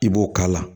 I b'o k'a la